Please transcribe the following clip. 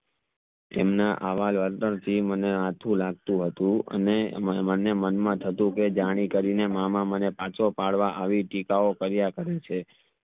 તેમના આવા જ મને અથુ લાગતું હતું અને મને મન માં થતું કે જાની કરી ને મામા મને પાછો પાડવા આવી ટીકાઓ કર્યા કરે છે